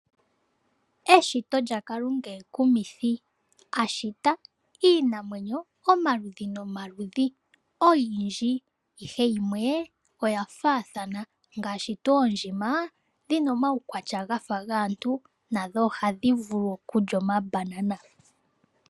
Eshito Lya Kalunga ekumithi a shita iinamwenyo omaludhi nomaludhi oyindji, ihe yimwe oya faathana ngaashi tuu oondjima dhina omaukwatya gafa gaantu nadho ohadhi vulu okulya omabanana